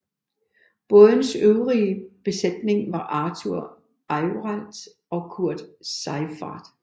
Bådens øvrige besætning var Arthur Ayrault og Kurt Seiffert